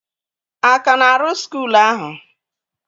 A ka na-arụ skuul ahụ?